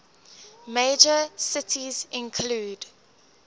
major cities include